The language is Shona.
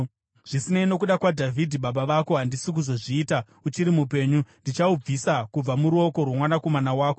Zvisinei, nokuda kwaDhavhidhi baba vako, handisi kuzozviita uchiri mupenyu. Ndichahubvisa kubva muruoko rwomwanakomana wako.